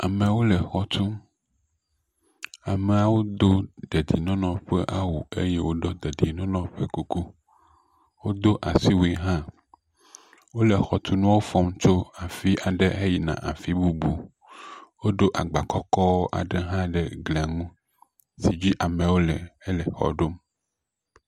Amewo le xɔ tum. Ameawo do dedienɔnɔ ƒe awu eye woɖo dedienɔnɔ ƒe kuku. Wodo asiwui ha. Wole xɔtunuwo fɔm tso afi aɖe yi afi bubu. Woɖo agba kɔkɔ aɖe hã ɖe glia ŋu si dzi ameawo le hele xɔa ɖom.